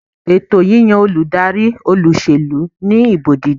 Ètò yíyan olùdarí olúsèlú ní ìbò dídì